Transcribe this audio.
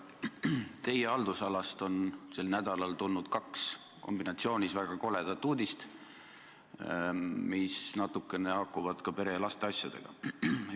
Teie haldusalast on sel nädalal tulnud kombinatsioonis võttes kaks väga koledat uudist, mis natukene haakuvad ka pere- ja lasteasjadega.